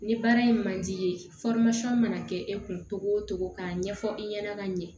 Ni baara in man di i ye mana kɛ e kun togo togo k'a ɲɛfɔ i ɲɛna ka ɲɛ